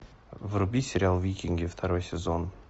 вруби сериал викинги второй сезон